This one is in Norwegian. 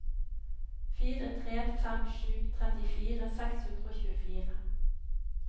fire tre fem sju trettifire seks hundre og tjuefire